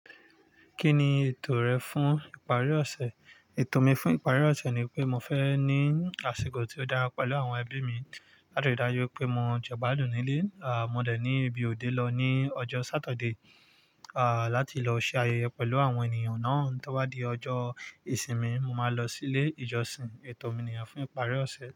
Kí ni ètò rẹ fún ìparí ọ̀sẹ̀? Ètò mi fún ìparí ọ̀sẹ̀ ni pé mo fẹ́ ní àsìkò tí ó dára pẹ̀lú àwọn ẹbí mi. Látirí dájú wipé mo jẹ igbadùn nílé, à mo dẹ̀ ní ibi òde lọ ní ọjọ́ saturday, láti lọ ṣe ayẹyẹ pẹ̀lú àwọn ènìyàn náà. Tó bá di ọjọ́ ìsinmi, mo máa lọ sí ilé ìjọsìn. Ètò mi ni ye fún ìparí ọ̀sẹ̀.